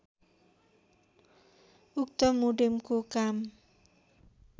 उक्त मोडेमको काम